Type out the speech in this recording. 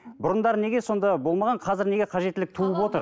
бұрындары неге сонда болмаған қазір неге қажеттілік туып отыр